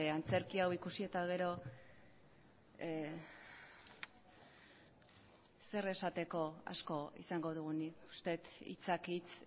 antzerki hau ikusi eta gero zer esateko asko izango dugunik uste dut hitzak hitz